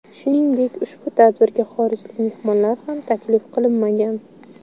Shuningdek ushbu tadbirga xorijlik mehmonlar ham taklif qilinmagan.